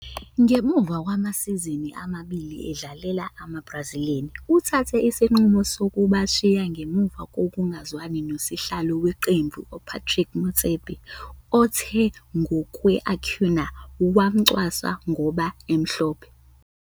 Ngemuva kwamasizini amabili edlalela "amaBrazilians",uthathe isinqumo sokubashiya ngemuva kokungezwani nosihlalo weqembu uPatrice Motsepe othe ngokwe-Acuña wamcwasa ngoba emhlophe.